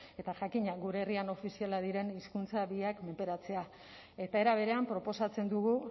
eta jakina gure herrian ofizialak diren hizkuntza biak menperatzea eta era berean proposatzen dugu